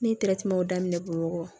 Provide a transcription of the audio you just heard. Ne ye daminɛ bɔn